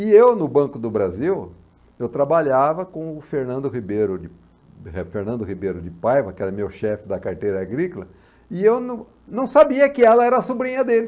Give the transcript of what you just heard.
E eu, no Banco do Brasil, eu trabalhava com o Fernando Ribeiro de Fernando Ribeiro de Paiva, que era meu chefe da carteira agrícola, e eu não não sabia que ela era a sobrinha dele.